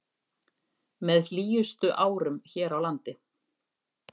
Með hlýjustu árum hér á landi